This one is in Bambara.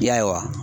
Ya ye wa